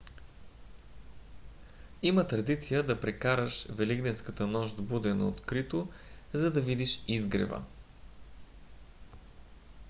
има традиция да прекараш великденската нощ буден на открито за да видиш изгрева